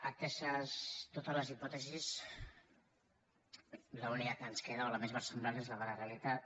ateses totes les hipòtesis l’única que ens queda o la més versemblant és la de la realitat